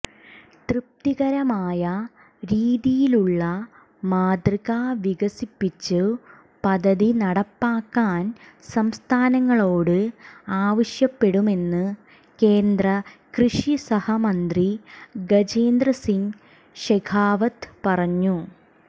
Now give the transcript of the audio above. തൃപ്തികരമായ രീതിയിലുള്ള മാതൃക വികസിപ്പിച്ചു പദ്ധതി നടപ്പാക്കാൻ സംസ്ഥാനങ്ങളോട് ആവശ്യപ്പെടുമെന്നു കേന്ദ്ര കൃഷി സഹമന്ത്രി ഗജേന്ദ്ര സിങ് ഷെഖാവത്ത് പറഞ്ഞു